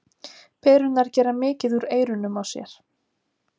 Perurnar gera mikið úr eyrunum á sér.